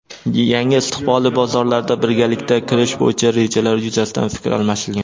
yangi istiqbolli bozorlarga birgalikda kirish bo‘yicha rejalar yuzasidan fikr almashilgan.